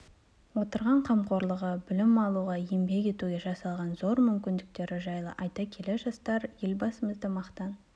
отырған қамқорлығы білім алуға еңбек етуге жасалған зор мүмкіндіктері жайлы айта келе жастар елбасымызды мақтан